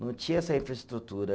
Não tinha essa infraestrutura.